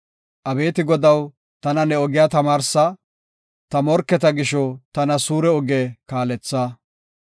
Abeeti Godaw, tana ne ogiya tamaarsa; ta morketa gisho tana suure oge kaaletha.